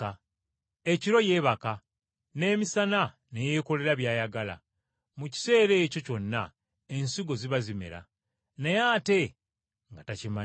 Ekiro yeebaka, n’emisana ne yeekolera by’ayagala, mu kiseera ekyo kyonna ensigo ziba zimera, naye ate nga takimanyi.